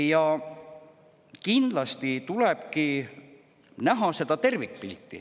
Ja kindlasti tulebki näha seda tervikpilti.